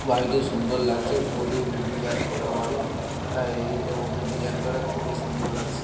বাড়িটি সুন্দর লাগছে খুবই ডিজাইন করা বাড়ি। হ্যাঁ এইটার মতো ডিজাইন করা খুবই সুন্দর লাগছে।